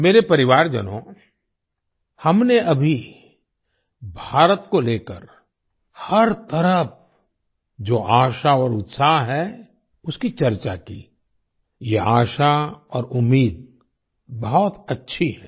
मेरे परिवारजनों हमने अभी भारत को लेकर हर तरफ जो आशा और उत्साह है उसकी चर्चा की ये आशा और उम्मीद बहुत अच्छी है